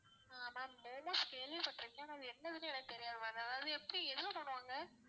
ஆஹ் ma'am momos கேள்விப்பட்டிருக்கேன் ஆனா என்னதுன்னு எனக்கு தெரியாது ma'am அதாவது எப்படி எதுல பண்ணுவாங்க